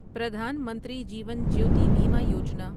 Pradhan Mantri Jeevan Jyoti Bima Yojana